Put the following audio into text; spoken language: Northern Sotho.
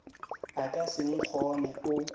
o ka se nkgone o